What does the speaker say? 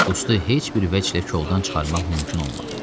Qustu heç bir vəchlər koldan çıxarmaq mümkün olmadı.